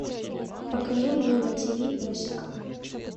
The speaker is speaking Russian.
покажи мне на ти ви песика